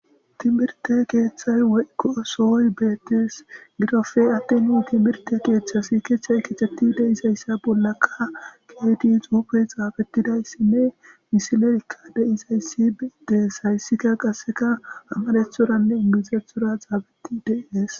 timirte keeththay woykkoosooy beettees gidofe atti nu timirte keeththas kiechtchay kitetti deizayssa bollakka keeti xuufe xaabetidayssinne misileekka deizayssi beedees hayssika qasseka ammalethoranne inbinzethora xaabetti deiees